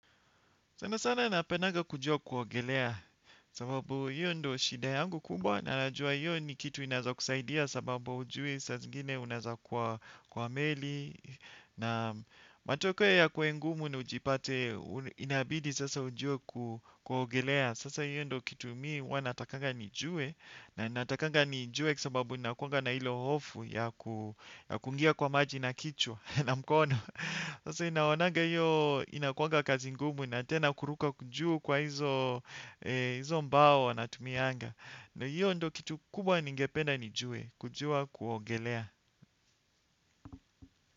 Sana sana napendanga kujua kuogelea sababu hiyo ndo shida yangu kubwa na najua hiyo ni kitu inaeza kusaidia sababu ujui saa zingine unaeza kwa meli na matokeo yakuwe ngumu na ujipate inabidi sasa ujue kuogelea. Sasa hiyo ndo kitu mi huwa natakaga nijue na natakaga nijue sababu nakuaga na ilo hofu ya kuingia kwa maji na kichwa na mkono. Sasa ninaonaga hiyo inakuaga kazi ngumu na tena kuruka juu kwa hizo mbao wanatumiaga. Na hiyo ndo kitu kubwa ningependa nijue. Kujua kuogelea.